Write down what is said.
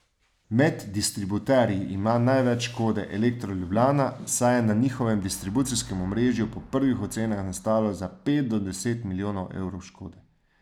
Med distributerji ima največ škode Elektro Ljubljana, saj je na njihovem distribucijskem omrežju po prvih ocenah nastalo za pet do deset milijonov evrov škode.